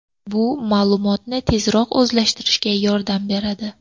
Bu ma’lumotni tezroq o‘zlashtirishga yordam beradi.